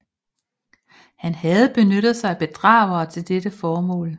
Han havde benyttet sig af bedragere til det formål